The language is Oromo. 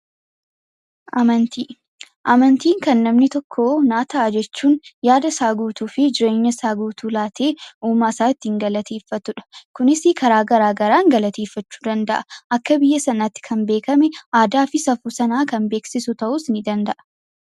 Amantii! Amantiin kan namni tokko naa ta'a jechuun yaadasaa guutuu fi jireenyasaa guutuu laatee uumaasaa ittiin galateeffatudha. Kunis karaa garaa garaan galateeffachuu danda'a. Akka biyya sanaatti kan beekame, aadaa fi safuu sanaa kan beeksisu ta'uus ni danda'a.